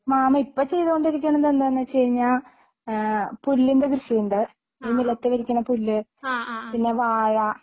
mama ഇപ്പോ ചെയ്തുകൊണ്ടിരിക്കന്നണത് എന്താന്ന് വെച്ചുകഴിഞ്ഞാ ഏഹ് പുല്ലിൻ്റെ കൃഷിയുണ്ട് ഈ നിലത്ത് വിരിക്കണ പുല്ല് പിന്നെ വാഴ